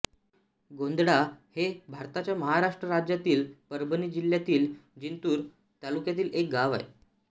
गोंधळा हे भारताच्या महाराष्ट्र राज्यातील परभणी जिल्ह्यातील जिंतूर तालुक्यातील एक गाव आहे